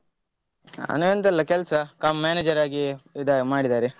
ನಾನ್ ಎಂತ ಎಲ್ಲ ಕೆಲ್ಸ cum manager ಆಗಿ ಇದು ಮಾಡಿದ್ದಾರೆ.